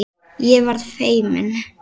Ég verð feimin.